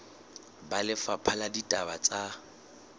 ba lefapha la ditaba tsa